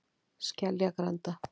Skeljagranda